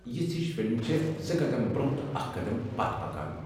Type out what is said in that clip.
یژھٕ یشہِ فلمہٕ چھےٚ زٕ قدم برٛۄنٛہہ تہٕ اکھ قدم پتھ پكان ۔